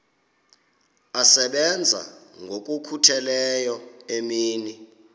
asebenza ngokokhutheleyo imini